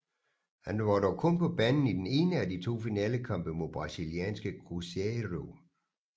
Han var dog kun på banen i den ene af de to finalekampe mod brasilianske Cruzeiro